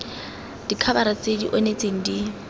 dikhabara tse di onetseng di